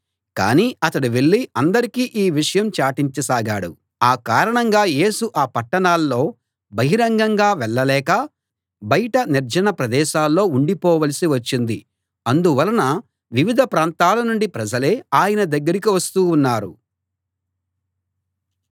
కానీ అతడు వెళ్ళి అందరికీ ఈ విషయం చాటించసాగాడు ఆ కారణంగా యేసు ఆ పట్టణాల్లో బహిరంగంగా వెళ్ళలేక బయట నిర్జన ప్రదేశాల్లో ఉండిపోవలసి వచ్చింది అందువలన వివిధ ప్రాంతాల నుండి ప్రజలే ఆయన దగ్గరికి వస్తూ ఉన్నారు